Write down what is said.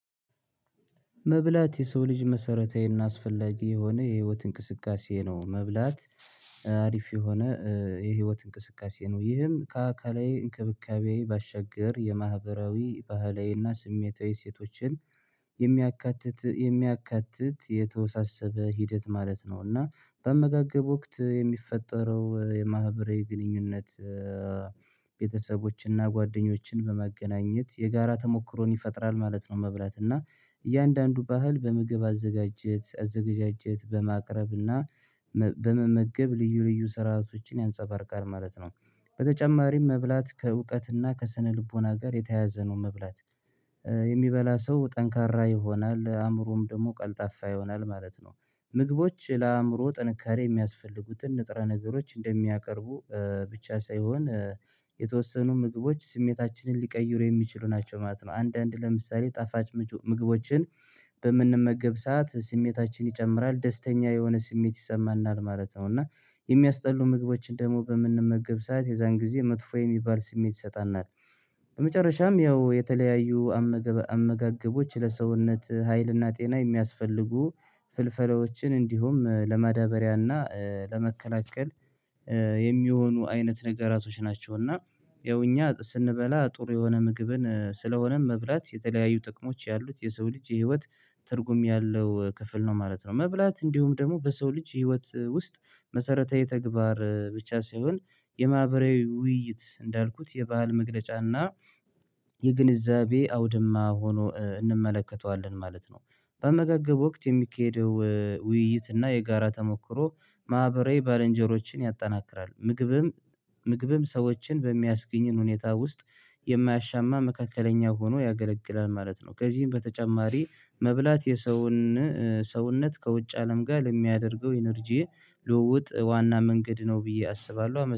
መብላት የሰው ልጅ መሰረታዊና አስፈላጊ የሆነ የህይወት እንቅስቃሴ ነው መብላት አሪፍ የሆነ የህይወት እንቅስቃሴ ነው ይህም ከአካላዊ እንክብካቤ ባሻገር የማህበራዊ፣ ባህላዊና ስሜታዊ ሴቶችን የሚያካትት የሚያካትት የተወሳሰበ ሂደት ማለት ነው እና በአመጋገብ ወቅት የሚፈጠረው የማህበራዊ ግንኙነት ቤተሰቦችንና ጓደኞችን በማገናኘት የጋራ ተሞክሮን ይፈጥራል ማለት ነው መብላት እና እያንዳንዱ ባህል በምግብ አዘጋጀት አዘጋጃጀት በማቅረብ እና በመመገብ ልዩ ልዩ ስርዓቶችን ያንጸባርቃል ማለት ነው በተጨማሪም መብላት ከእውቀትና ከስነልቦና ጋር የተያዘ ነው መብላት፤ የሚበላ ሰው ጠንካራ ይሆናል አእምሮም ደግሞ ቀልጣፋ ይሆናል ማለት ነው ምግቦች ለአእምሮ ጥንካሬ የሚያስፈልጉትን ንጥረ ነገሮች እንደሚያቀርቡ ብቻ ሳይሆን የተወሰኑ ምግቦች ስሜታችንን ሊቀይሩ የሚችሉ ናቸው ማለት ነው አንዳንድ ለምሳሌ ጣፋጭ ምግቦችን በምንመገብ ሰዓት ስሜታችን ይጨምራል ደስተኛ የሆነ ስሜት ይሰማናል ማለት ነው እና የሚያስጠሉ ምግቦችን ደግሞ በምንመገብ ሰዓት የዛን ጊዜ መጥፎ የሚባል ስሜት ይሰጠናል፤ በመጨረሻም ያው የተለያዩ አመጋገቦች ለሰውነት ሀይልና ጤና የሚያስፈልጉ ፍልፈላዎችን እንዲሁም ለመዳበሪያና ለመከላከል የሚሆኑ አይነት ነገራቶች ናቸውና ያው እኛ ስንበላ ጥሩ የሆነ ምግብን ስለሆነም መብላት የተለያዩ ጥቅሞች ያሉት የሰው ልጅ የህይወት ትርጉም ያለው ክፍል ነው ማለት ነው መብላት እንዲሁም ደግሞ በሰው ልጅ ህይወት ውስጥ መሰረታዊ ተግባር ብቻ ሲሆን የማህበራዊ ውይይት እንዳልኩት የባህል መግለጫና የግንዛቤ አውድማ ሆኖ እንመለከተዋለን ማለት ነው በአመጋገብ ወቅት የሚካሄደው ውይይት እና የጋራ ተሞክሮ ማህበራዊ ባለንጀሮችን ያጠናክራል ምግብም ምግብም ሰዎችን በሚያስገኝን ሁኔታ ውስጥ የማያሻማ መካከለኛ ሆኖ ያገለግላል ማለት ነው ከዚህም በተጨማሪ መብላት የሰውን ሰውነት ከውጭ አለም ጋር ለሚያደርገው ኢነርጂዬ ልውውጥ ዋና መንገድ ነው ብዬ አስባለሁ አመሰግናለሁ።